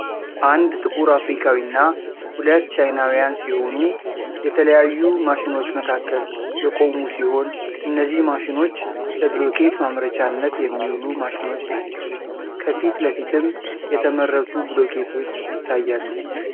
አንድ ጥቁር አፍሪካዊና 2 ቻይናውያን ሲሆኑ የተለያዩ ማሽኖች መካከል የቆሙ ሲሆን እነዚህ ማሽኖች ለብሎኬት ማምረቻነት የሚውሉ ማሺኖች ናቸው። ከፊት ለፊትም የተመረቱ ብሎኬቶች ይታያሉ።